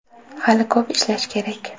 Hali ko‘p ishlash kerak.